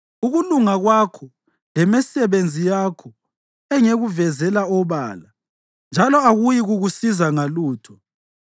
Ukulunga kwakho lemisebenzi yakho ngizakuveza obala, njalo akuyikukusiza ngalutho.